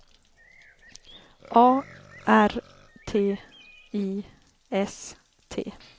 A R T I S T